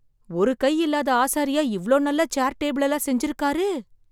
ஒரு கை இல்லாத ஆசாரியா இவ்ளோ நல்ல சேர் டேபிள் எல்லாம் செஞ்சிருக்காரரு ?